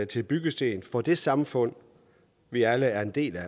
til byggesten for det samfund vi alle er en del af